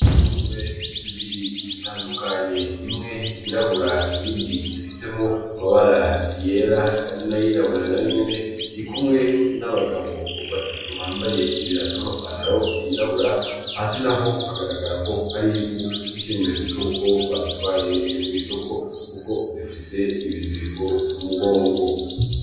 Ingurube zibiri zitandukanye imwe yirabura iyindi ifisemo amabara yera nayirabura na yo nyene iri kumwe n'abagabo batatu bambaye ibirata n'amapantaro yirabura hasi na ho hagaragara ko harivu nk'ikinyemetso c'ko bazitwayeko'isoko, kuko zifise ibizirko kumugongo.